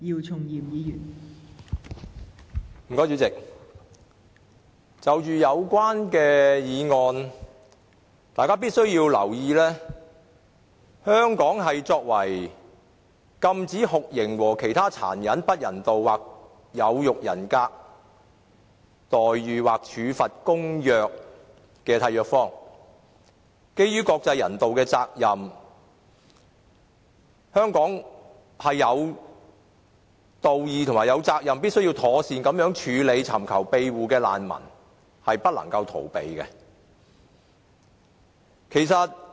代理主席，就有關的議案，大家必須留意的，便是香港作為《禁止酷刑和其他殘忍、不人道或有辱人格的待遇或處罰公約》的締約方，基於國際人道的責任，香港是有道義及責任必須妥善處理尋求庇護的難民，是不能逃避這種責任的。